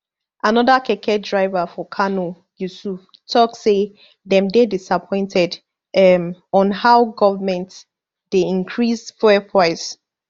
anoda keke driver for kano yusuf tok say dem dey disappointed um on how goment dey increase fuel price